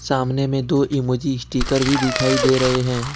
सामने में दो इमोजी स्टीकर भी दिखाई दे रहे हैं।